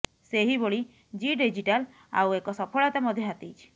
ସେହିଭଳି ଜୀ ଡିଜିଟାଲ ଆଉ ଏକ ସଫଳତା ମଧ୍ୟ ହାତେଇଛି